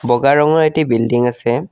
বগা ৰঙৰ এটি বিল্ডিং আছে।